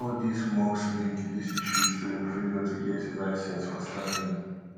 all dis musk link dis issues to im failure to get a licence for starlink